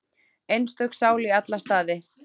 Einstök sál í alla staði.